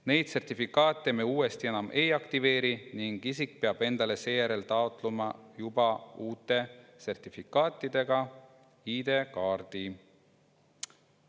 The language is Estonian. Neid sertifikaate me uuesti enam ei aktiveeri ning isik peab endale seejärel taotlema juba uute sertifikaatidega ID‑kaardi.